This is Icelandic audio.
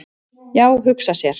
"""Já, hugsa sér!"""